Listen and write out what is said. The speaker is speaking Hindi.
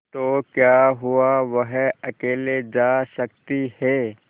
तो क्या हुआवह अकेले जा सकती है